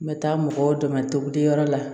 N bɛ taa mɔgɔw dɛmɛ togo di yɔrɔ la